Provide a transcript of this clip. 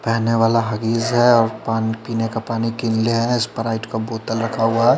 पेहने वाला हगिस है और पान पिने का पानी किल्ले है स्प्राईट का बोटल रखा हुआ है।